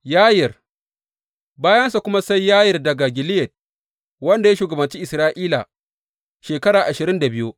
Yayir Bayansa kuma sai Yayir daga Gileyad, wanda ya shugabanci Isra’ila shekara ashirin da biyu.